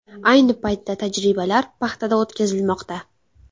Ayni paytda tajribalar paxtada o‘tkazilmoqda.